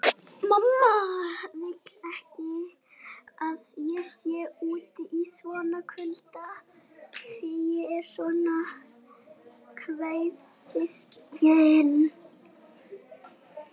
Mamma vill ekki að ég sé úti í svona kulda því ég er svo kvefsækinn